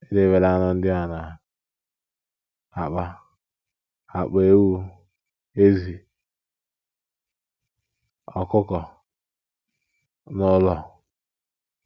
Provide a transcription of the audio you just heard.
Edebela anụ ndị a na - akpa akpa — ewu, ezì, ọkụkọ — n’ụlọ.